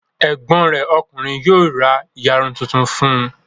Ẹ̀gbọ́n rẹ̀ ọkùnrin yóò ra ìyarun tuntun fún un.